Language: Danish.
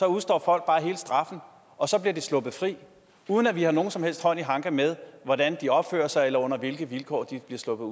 udstår folk bare hele straffen og så bliver de sluppet fri uden at vi har nogen som helst hånd i hanke med hvordan de opfører sig eller under hvilke vilkår de bliver sluppet